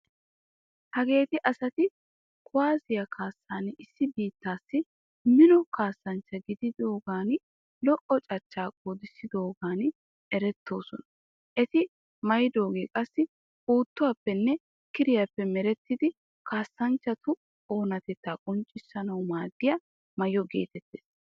Hageeti asati kuwaasiya kaassan issi biittaassi mino kaassanchcha gidiyogan lo'"o cachchaa qoodissiyogan erettoosona. Eti maayidooge qassi puuttuwaappenne kiriyaappe merettidi kaassanchchatu oonatettaa qonccissanawu maaddiya maayo geetettees.